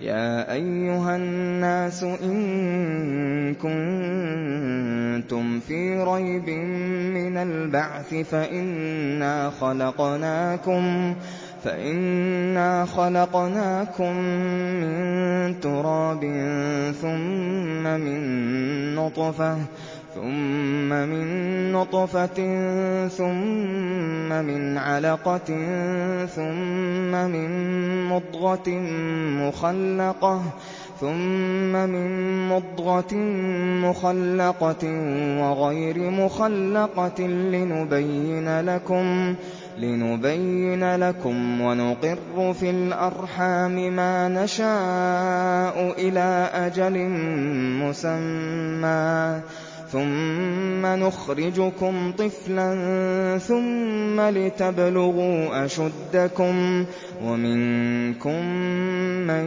يَا أَيُّهَا النَّاسُ إِن كُنتُمْ فِي رَيْبٍ مِّنَ الْبَعْثِ فَإِنَّا خَلَقْنَاكُم مِّن تُرَابٍ ثُمَّ مِن نُّطْفَةٍ ثُمَّ مِنْ عَلَقَةٍ ثُمَّ مِن مُّضْغَةٍ مُّخَلَّقَةٍ وَغَيْرِ مُخَلَّقَةٍ لِّنُبَيِّنَ لَكُمْ ۚ وَنُقِرُّ فِي الْأَرْحَامِ مَا نَشَاءُ إِلَىٰ أَجَلٍ مُّسَمًّى ثُمَّ نُخْرِجُكُمْ طِفْلًا ثُمَّ لِتَبْلُغُوا أَشُدَّكُمْ ۖ وَمِنكُم مَّن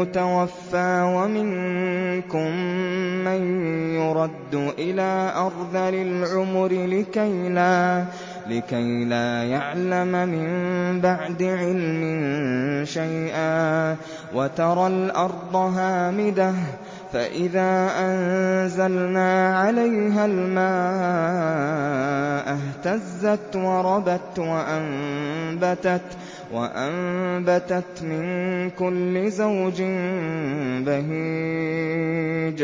يُتَوَفَّىٰ وَمِنكُم مَّن يُرَدُّ إِلَىٰ أَرْذَلِ الْعُمُرِ لِكَيْلَا يَعْلَمَ مِن بَعْدِ عِلْمٍ شَيْئًا ۚ وَتَرَى الْأَرْضَ هَامِدَةً فَإِذَا أَنزَلْنَا عَلَيْهَا الْمَاءَ اهْتَزَّتْ وَرَبَتْ وَأَنبَتَتْ مِن كُلِّ زَوْجٍ بَهِيجٍ